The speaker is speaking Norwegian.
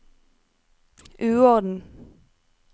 uorden